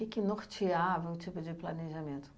que que norteava um tipo de planejamento?